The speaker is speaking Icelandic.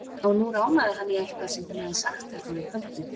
Og nú rámaði hann í eitthvað sem hún hafði sagt þarna um kvöldið.